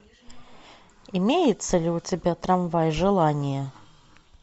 имеется ли у тебя трамвай желания